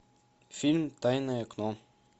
фильм тайное окно